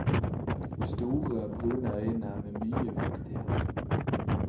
Store, brune øyne med mye fuktighet.